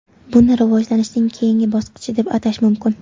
Buni rivojlanishning keyingi bosqichi deb atash mumkin.